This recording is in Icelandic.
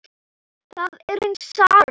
Það er rauna saga.